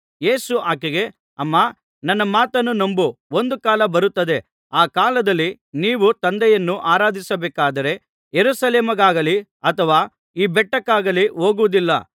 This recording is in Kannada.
ಯೇಸು ಆಕೆಗೆ ಅಮ್ಮಾ ನನ್ನ ಮಾತನ್ನು ನಂಬು ಒಂದು ಕಾಲ ಬರುತ್ತದೆ ಆ ಕಾಲದಲ್ಲಿ ನೀವು ತಂದೆಯನ್ನು ಆರಾಧಿಸಬೇಕಾದರೆ ಯೆರೂಸಲೇಮಿಗಾಗಲಿ ಅಥವಾ ಈ ಬೆಟ್ಟಕ್ಕಾಗಲಿ ಹೋಗುವುದಿಲ್ಲ